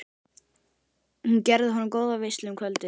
Hún gerði honum góða veislu um kvöldið.